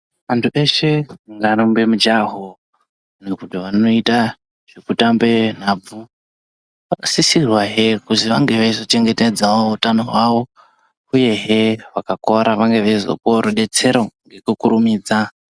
Vantu veshe ngavarumbe mujaho ngekuti zvavanoita zvekutambe nhabvu vanosisirwawo kuziva nezvekuzvichengetedza utano hwavo uyehe hwakora vanenge vachizopawo rubetsero.